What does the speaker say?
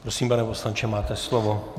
Prosím, pane poslanče, máte slovo.